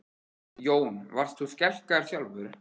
Jón: Varst þú skelkaður sjálfur?